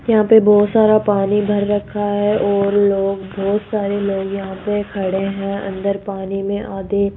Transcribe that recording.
यहां पे बहुत सारा पानी भर रखा है और लोग बहुत सारे लोग यहां पे खड़े हैं अंदर पानी में आधे --